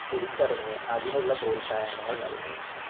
തിരിച്ചറിഞ്ഞ് അതിനുള്ള പ്രോൽസാഹങ്ങൾ നൽകുന്നു.